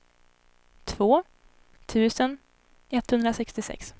två tusen etthundrasextiosex